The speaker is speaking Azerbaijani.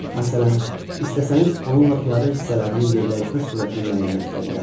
Məsələn, istəsəniz onunla piyada hissələrinin yerdəyişmə sürətini müəyyənləşdirə bilərsiniz.